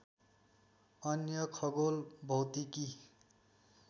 अन्य खगोल भौतिकी